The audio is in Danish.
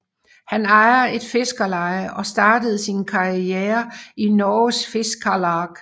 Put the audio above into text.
Han ejer et fiskerleje og startede sin karriere i Norges Fiskarlag